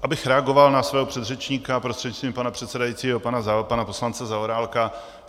Abych reagoval na svého předřečníka, prostřednictvím pana předsedajícího, pana poslance Zaorálka.